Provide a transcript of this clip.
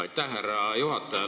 Aitäh, härra juhataja!